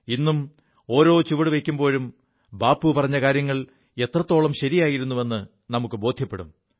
ഇും ഓരോ ചുവടുവയ്ക്കുമ്പോഴും ബാപ്പു പറഞ്ഞ കാര്യങ്ങൾ എത്രത്തോളം ശരിയായിരുു എു നമുക്കു ബോധ്യപ്പെടും